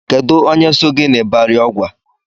Onye so gị n'Ibari Ọgwa?